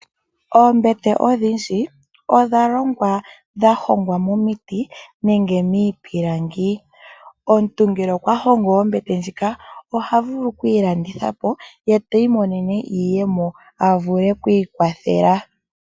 Oombete odhindji odha longwa dha hongwa momiti nenge miipilangi. Omuntu ngele okwa hongo ombete ndjika oha vulu okuyi landitha po, ye ti imonene iiyemo, a vule oku ikwathela.